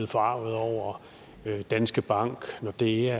forargede over danske bank nordea